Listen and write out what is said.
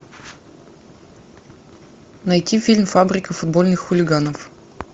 найти фильм фабрика футбольных хулиганов